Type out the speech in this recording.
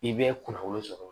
I bɛ kunnafoni sɔrɔ